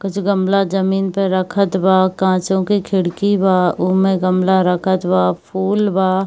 कुछ गमला जमीन पर रखत बा कांचो के खिड़की बा उमे गमला रखत बा फूल बा |